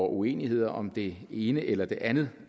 uenigheder om det ene eller det andet